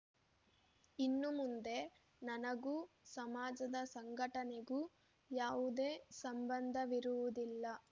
ಇನ್ನು ಮುಂದೆ ನನಗೂ ಸಮಾಜದ ಸಂಘಟನೆಗೂ ಯಾವುದೇ ಸಂಬಂಧವಿರುವುದಿಲ್ಲ